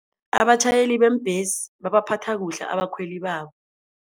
Abatjhayeli beembhesi babaphatha kuhle abakhweli babo.